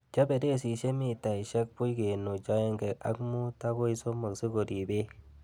Chob beresisiek mitaisiekbuch kenuch oengek ak mut agoi somok sikorib beek.